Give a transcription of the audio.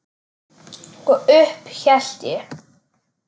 Og upp hélt ég.